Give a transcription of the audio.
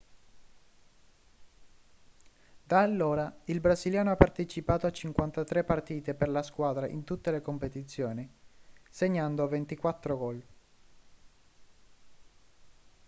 da allora il brasiliano ha partecipato a 53 partite per la squadra in tutte le competizioni segnando 24 gol